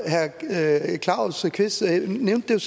herre claus kvist hansen nævnte